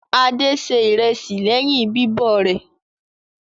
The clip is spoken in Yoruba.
Adé se ìrẹsì lẹ́yìn bíbọ̀ rẹ̀.